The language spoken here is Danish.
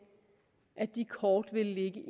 at de kort ville ligge